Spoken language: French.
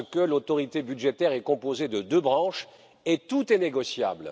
L'autorité budgétaire est composée de deux branches et tout est négociable.